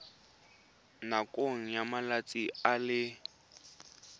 nakong ya malatsi a le